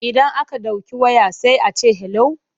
Idan aka ɗauki waya sai a ce 'hello'.